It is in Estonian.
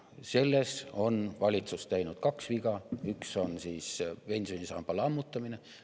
Selles on valitsus teinud kaks viga, üks on pensionisamba lammutamine.